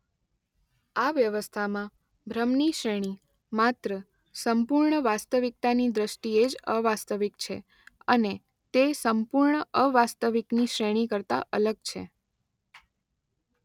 આ વ્યવસ્થામાં ભ્રમ ની શ્રેણી માત્ર સંપૂર્ણ વાસ્તવિકતાની દ્રષ્ટિએ જ અવાસ્તવિક છે અને તે સંપૂર્ણ અવાસ્તવિક ની શ્રેણી કરતાં અલગ છે.